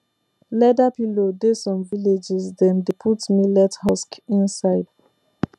leather pillow dey some villages dem dey put millet husk inside